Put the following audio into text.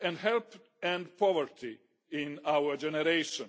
helping to end poverty in our generation.